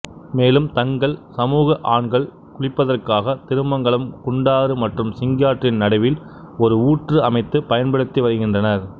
மேலும் தங்கள் சமூக ஆண்கள் குளிப்பதற்காக திருமங்கலம் குண்டாறு மற்றும் சிங்காற்றின் நடுவில் ஒரு ஊற்று அமைத்து பயன்படுத்தி வருகின்றனர்